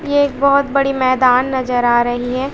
ये एक बहोत बड़ी मैदान नजर आ रही है।